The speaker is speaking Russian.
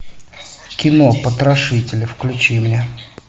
кино потрошители включи мне